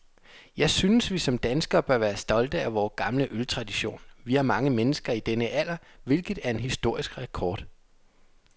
Jeg synes, vi som danskere bør være stolte af vor gamle øltradition. Vi har mange mennesker i denne alder, hvilket er en historisk rekord.